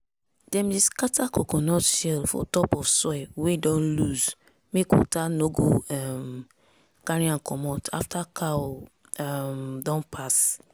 dem dey scatter coconut shell for top of soil wey don loose mek water no go um carry am comot after cow um don pass.